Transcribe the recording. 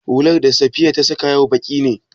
Hular da Safiya ta saƙa yau baƙi ne?